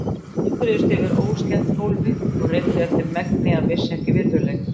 Þeir klöngruðust yfir óslétt gólfið og reyndu eftir megni að missa ekki virðuleikann.